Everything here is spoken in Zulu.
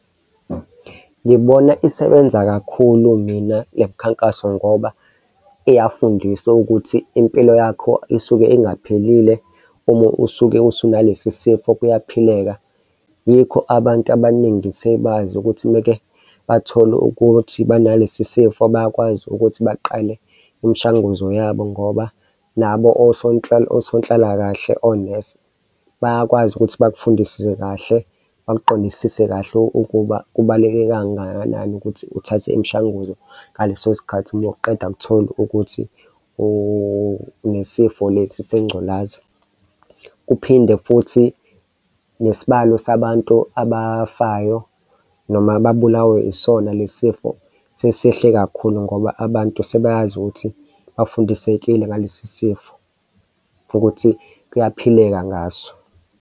Ngibona isebenza kakhulu mina le mikhankaso ngoba iyafundisa ukuthi impilo yakho isuke engaphilile. Uma usuke usu nalesi sifo, kuyaphileka. Yikho abantu abaningi sebazi ukuthi umake bathole ukuthi banalesi sifo bayakwazi ukuthi baqale imishanguzo yabo ngoba nabo osonhlalakahle onesi bayakwazi ukuthi bakufundisiwe kahle, bakuqondisise kahle ukuba kubaluleke kangakanani ukuthi uthathe imishanguzo ngaleso sikhathi, uma uqeda kuthola ukuthi unesifo lesi sengculaza kuphinde futhi nesibalo sabantu abafayo noma babulawe isona lesi sifo sesehle kakhulu ngoba abantu sebeyazi ukuthi bafundisekile ngalesi sifo ukuthi kuyaphileka ngaso.